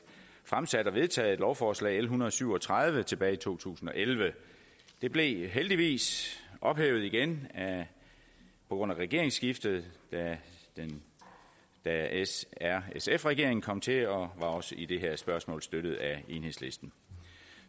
fremsat og vedtaget et lovforslag l en hundrede og syv og tredive tilbage i to tusind og elleve det blev heldigvis ophævet igen på grund af regeringsskiftet da s r sf regeringen kom til og også i det her spørgsmål blev støttet af enhedslisten